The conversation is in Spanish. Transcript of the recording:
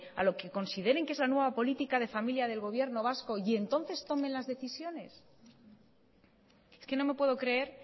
a lo que consideren que es la nueva política de familia del gobierno vasco y entonces tomen las decisiones es que no me puedo creer